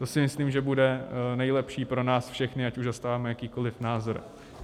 To si myslím, že bude nejlepší pro nás všechny, ať už zastáváme jakýkoliv názor.